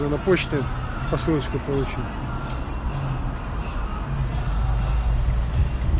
то на почту посылочку получил